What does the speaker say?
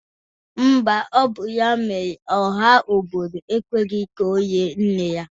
Mba, ọ bụ ya mere ọha obodo ekweghi ka olie nne ya.